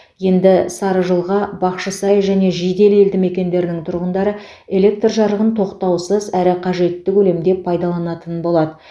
енді сарыжылға бақшысай және жиделі елді мекендерінің тұрғындары электр жарығын тоқтаусыз әрі қажетті көлемде пайдаланатын болады